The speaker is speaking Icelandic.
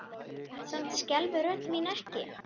Samt skelfur rödd mín ekki.